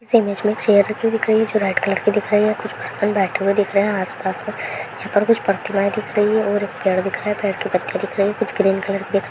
इस इमेज मे चेयर जो रेड कलर की दिख रही है कुछ पर्सन बैठे हुए दिख रहे हैं आस-पास मे कुछ प्रतिमाएं दिख रही है और एक पेड़ दिख रही हैं पेड़ के पत्ते दिख रही हैं कुछ ग्रीन कलर के --